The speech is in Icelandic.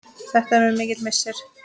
Þetta er mér mikill missir.